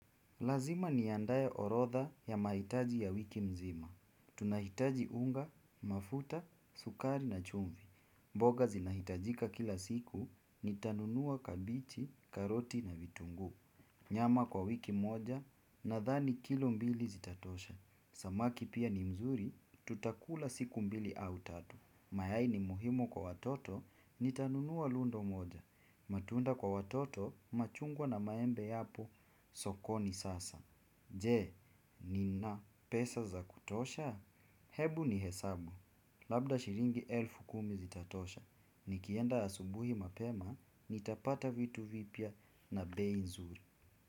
Lazima niandae orodha ya mahitaji ya wiki mzima. Tunahitaji unga, mafuta, sukari na chumvi. Mboga zinahitajika kila siku, nitanunua kabichi, karoti na vitungu. Nyama kwa wiki moja nadhani kilo mbili zitatosha. Samaki pia ni mzuri, tutakula siku mbili au tatu. Mayai ni muhimu kwa watoto, nitanunua lolo moja. Matunda kwa watoto, machungwa na maembe yapo, sokoni sasa. Je, nina pesa za kutosha? Hebu ni hesabu. Labda shilingi elfu kumi zitatosha. Nikienda asubuhi mapema, nitapata vitu vipya na bei nzuri.